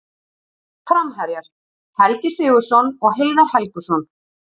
Framherjar: Helgi Sigurðsson og Heiðar Helguson.